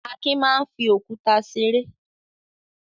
Akin máa ń fi òkúta ṣeré.